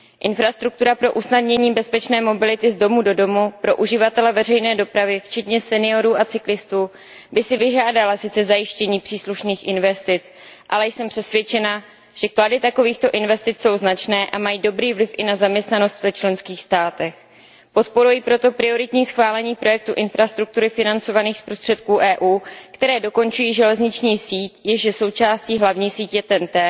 Infrastruktura pro usnadnění bezpečné mobility z domu do domu pro uživatele veřejné dopravy včetně seniorů a cyklistů by si vyžádala sice zajištění příslušných investic, ale jsem přesvědčena, že klady takovýchto investic jsou značné a mají dobrý vliv i na zaměstnanost v členských státech. Podporuji proto prioritní schválení projektů infrastruktury financovaných z prostředků EU, které dokončují železniční síť, jež je součástí hlavní sítě TEN T,